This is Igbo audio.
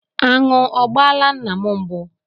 Aṅụ ọ gbaala nna m mbụ?